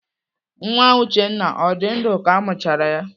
Nwa Uchenna ọ dị ndụ ka amụchara ya?